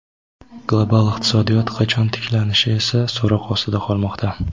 Global iqtisodiyot qachon tiklanishi esa so‘roq ostida qolmoqda.